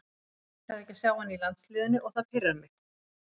Mér líkar ekki að sjá hann í landsliðinu og það pirrar mig.